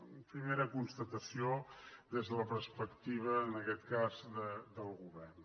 una primera constatació des de la perspectiva en aquest cas del govern